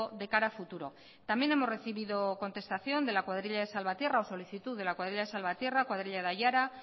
de cara a futuro también hemos recibido contestación de la cuadrilla de salvatierra o solicitud de la cuadrilla de salvatierra cuadrilla de aiara